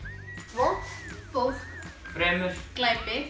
vont fólk fremur glæpi